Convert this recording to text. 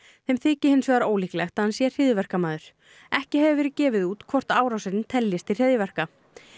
þeim þyki hins vegar ólíklegt að hann sé hryðjuverkamaður ekki hefur verið gefið út hvort árásin teljist til hryðjuverka